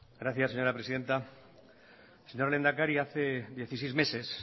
gracias señora presidenta señor lehendakari hace dieciséis meses